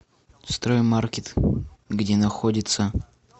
строй маркет где находится